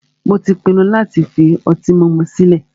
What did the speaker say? Mó tí pinnu láti fi ọtí mímu sile